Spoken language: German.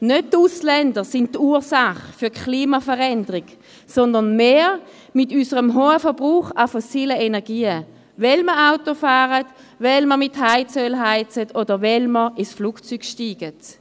Nicht die Ausländer sind die Ursache für die Klimaveränderung, sondern wir mit unserem hohen Verbrauch an fossilen Energien, weil wir Auto fahren, weil wir mit Heizöl heizen, oder weil wir ins Flugzeug steigen.